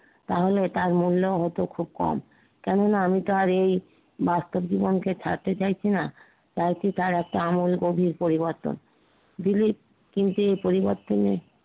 তাহলে তার মূল্য হতো খুব কম। কেননা, আমি তো আর এই বাস্তব জীবনকে ছাড়তে চাইছিনা তাই কি চায় একটা আমূল গভীর পরিবর্তন দিলিপ কিন্তু এ পরিবর্তনে